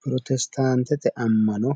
Pirotestaantete ammano